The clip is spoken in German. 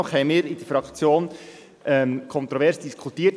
Dennoch haben wir in der Fraktion kontrovers darüber diskutiert.